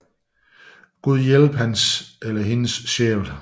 Gud hjælpe hans eller hendes sjæl